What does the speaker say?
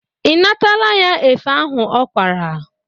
Ị natala ya efe ahụ ọ kwara?